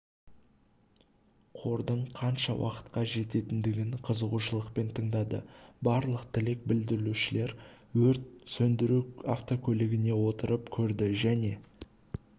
қордың қанша уақытқа жететіндігін қызығушылықпен тыңдады барлық тілек білдірушілер өрт сөндіру автокөлігіне отырып көрді және